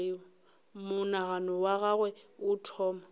monagano wa gagwe o thoma